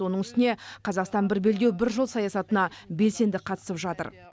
оның үстіне қазақстан бір белдеу бір жол саясатына белсенді қатысып жатыр